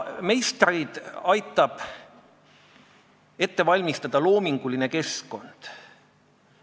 Meistreid aitab ette valmistada loominguline keskkond.